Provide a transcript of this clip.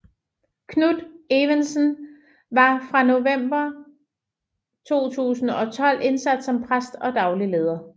Knut Evensen var fra november 2012 indsat som præst og daglig leder